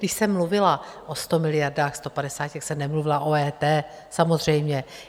Když jsem mluvila o 100 miliardách, 150, tak jsem nemluvila o EET samozřejmě.